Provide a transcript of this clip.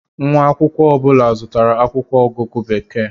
Nwa akwụkwọ ọ bụla zụtara akwụkwọ ọgụgụ Bekee.